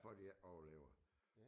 For at de overlever